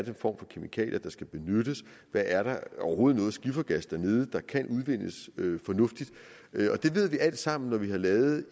en form for kemikalier der skal benyttes og er der overhovedet noget skiffergas dernede der kan udvindes fornuftigt det ved vi alle sammen når vi har lavet